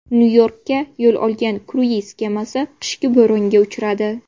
Nyu-Yorkka yo‘l olgan kruiz kemasi qishki bo‘ronga uchradi.